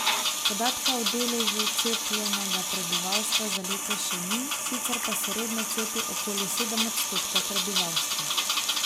Podatka o deležu cepljenega prebivalstva za letos še ni, sicer pa se redno cepi okoli sedem odstotkov prebivalstva.